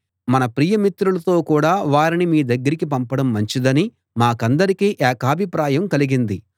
మన ప్రియ మిత్రులతో కూడా వారిని మీ దగ్గరికి పంపడం మంచిదని మాకందరికీ ఏకాభిప్రాయం కలిగింది